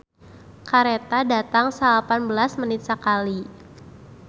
"Kareta datang salapan belas menit sakali"